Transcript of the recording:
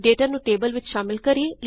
data ਨੂੰ table ਵਿੱਚ ਸ਼ਾਮਲ ਕਰੇਂ 2